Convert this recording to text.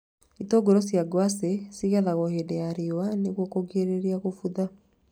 Itũngũrũ cia ngwacĩ cĩgethagwo hingo ya riũa nĩguo kũgirĩrĩria gũbutha